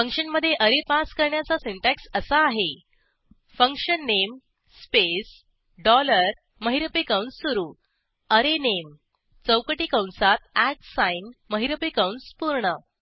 फंक्शनमधे array pass करण्याचा syntax असा आहे function name स्पेस डॉलर महिरपी कंस सुरू array name चौकटी कंसात महिरपी कंस पूर्ण